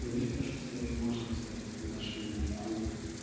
мне кажется её можно взять в наш мини клуб